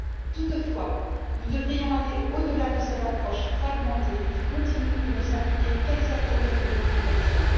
Toutefois, nous devrions aller au delà de cette approche fragmentée qui continue de ne s'appliquer qu'à certaines catégories de personnes.